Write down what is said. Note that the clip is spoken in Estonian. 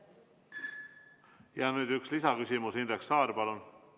Ja nüüd üks lisaküsimus, Indrek Saar, palun!